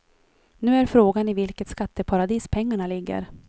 Nu är frågan i vilket skatteparadis pengarna ligger.